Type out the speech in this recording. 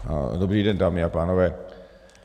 Dobrý den, dámy a pánové.